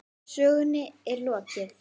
Sögunni er ekki lokið.